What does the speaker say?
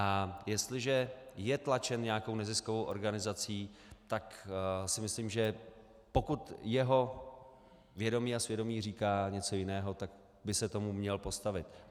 A jestliže je tlačen nějakou neziskovou organizací, tak si myslím, že pokud jeho vědomí a svědomí říká něco jiného, tak by se tomu měl postavit.